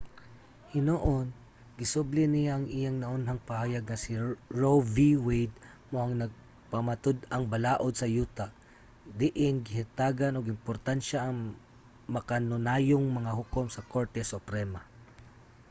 hinuon gisubli niya ang iyang naunang pahayag nga si roe v. wade mao ang napamatud-ang balaod sa yuta diin gihatagan og importansya ang makanunayong mga hukom sa korte suprema